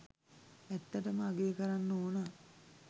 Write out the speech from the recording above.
ඇත්තටම අගය කරන්න ඕන